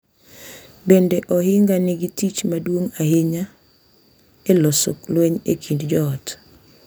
Bende, ohinga nigi tich maduong’ ahinya e loso lweny e kind joot.